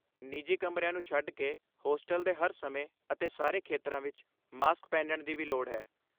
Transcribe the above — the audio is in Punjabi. ਨਿੱਜੀ ਕਮਰਿਆਂ ਨੂੰ ਛੱਡ ਕੇ, ਹੋਸਟਲ ਦੇ ਹਰ ਸਮੇਂ ਅਤੇ ਸਾਰੇ ਖੇਤਰਾਂ ਵਿੱਚ ਮਾਸਕ ਪਹਿਨਣ ਦੀ ਵੀ ਲੋੜ ਹੈ।